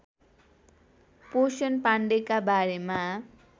पोषण पाण्डेका बारेमा